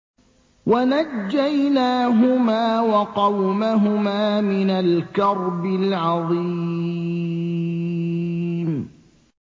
وَنَجَّيْنَاهُمَا وَقَوْمَهُمَا مِنَ الْكَرْبِ الْعَظِيمِ